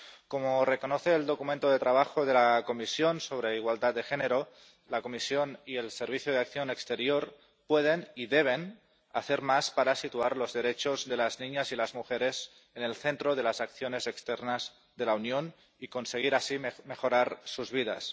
Como reconoce el documento de trabajo de la Comisión sobre igualdad de género, la Comisión y el Servicio Europeo de Acción Exterior pueden y deben hacer más para situar los derechos de las niñas y las mujeres en el centro de las acciones externas de la Unión y conseguir así mejorar sus vidas.